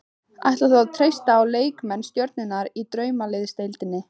Ætlar þú að treysta á leikmenn stjörnunnar í Draumaliðsdeildinni?